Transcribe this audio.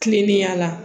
Kilennenya la